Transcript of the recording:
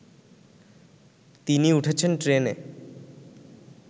তিনি উঠেছেন ট্রেনে